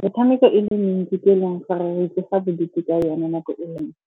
Metshameko e le mentsi ke e leng gore re ikentsha bodutu ka yone nako e le nngwe.